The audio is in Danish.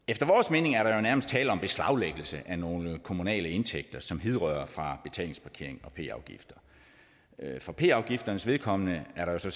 mening er der nærmest tale om beslaglæggelse af nogle kommunale indtægter som hidrører fra betalingsparkering og p afgifter for p afgifternes vedkommende altså